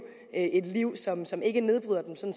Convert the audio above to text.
et liv som som ikke nedbryder dem som